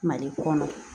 Mali kɔnɔ